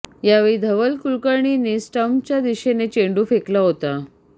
यावेळी धवल कुलकर्णीने स्टंपच्या दिशेने चेंडू फेकला होता